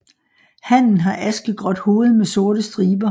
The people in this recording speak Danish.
Hannen har askegråt hoved med sorte striber